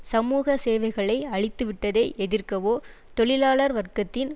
சமூக சேவைகளை அழித்து விட்டதை எதிர்க்கவோ தொழிலாளர் வர்க்கத்தின்